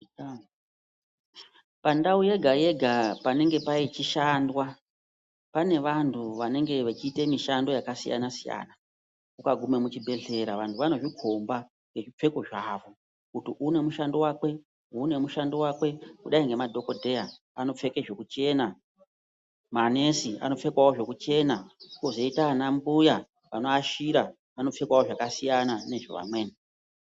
Pandau yega yega panenge pachishandwa pane vantu vanenge vachita mishando yakasiyana siyana. Ukaguma muchibhedhleya vantu vanozvikomba ngezvipfeko zvavo kuti uyu une mushando wake, kudai nemadhokodheya vanopfeka zvekuchena, manesi anopfekawo zvekuchena kwozoita ana mbuya vanoashira vanopfekawo zvakasiyana nezve vamweni.